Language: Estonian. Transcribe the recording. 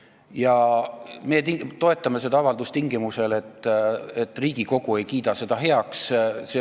Ja me toetame seda avaldust tingimusel, et Riigikogu ei kiida seda heaks.